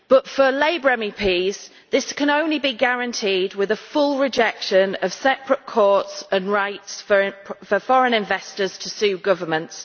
For Labour MEPs, this can only be guaranteed with full rejection of separate courts and rights for foreign investors to sue governments.